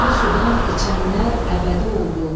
Bu sudan içənlər əbədi oldu.